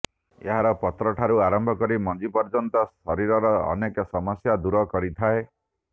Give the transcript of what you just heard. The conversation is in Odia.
ଏହାର ପତ୍ରଠାରୁ ଆରମ୍ଭ କରି ମଞ୍ଜି ପର୍ଯ୍ୟନ୍ତ ଶରୀରର ଅନେକ ସମସ୍ୟା ଦୂର କରିଥାଏ